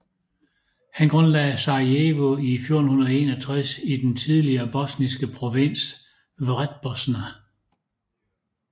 Han grundlagde Sarajevo i 1461 i den tidligere bosniske provins Vrhbosna